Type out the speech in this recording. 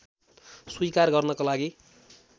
स्वीकार गर्नको लागि